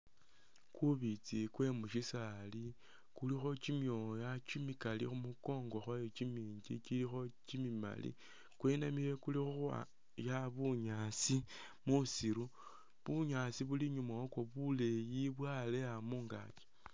Kubiitsi kwe mushisaali kulikho kyimyooya kyimikali khumukongo khwayo kyiminji kyilikho kyimimaali ,kwebanile kuli khukhwaya bunyaasi musiru ,bunyaasi buli inyuma wakwo buleyi bwaleya mungaaki